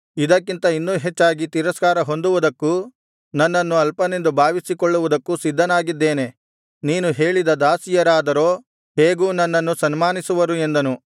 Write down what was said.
ಇದಕ್ಕಿಂತ ಇನ್ನೂ ಹೆಚ್ಚಾಗಿ ತಿರಸ್ಕಾರ ಹೊಂದುವುದಕ್ಕೂ ನನ್ನನ್ನು ಅಲ್ಪನೆಂದು ಭಾವಿಸಿಕೊಳ್ಳುವುದಕ್ಕೂ ಸಿದ್ಧನಾಗಿದ್ದೇನೆ ನೀನು ಹೇಳಿದ ದಾಸಿಯರಾದರೋ ಹೇಗೂ ನನ್ನನ್ನು ಸನ್ಮಾನಿಸುವರು ಎಂದನು